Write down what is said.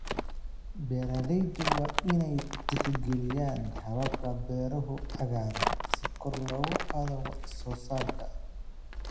Beeraleydu waa inay tixgeliyaan hababka beeraha cagaaran si kor loogu qaado wax soo saarka.